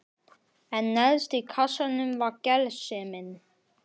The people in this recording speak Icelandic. En neðst í kassanum var gersemin.